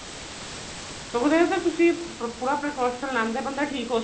ਸਗੋ ਤੁਸੀਂ ਪੂਰਾ precaution ਲੈਣ ਤੇ ਬੰਦਾ ਠੀਕ ਹੋ